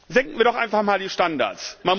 Senken wir doch einfach mal die Standards!